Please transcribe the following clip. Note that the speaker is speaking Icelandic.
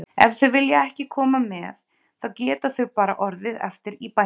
Ef þau vilja ekki koma með þá geta þau bara orðið eftir í bænum.